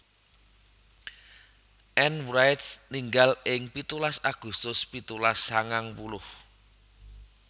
Ann Wright ninggal ing pitulas Agustus pitulas sangang puluh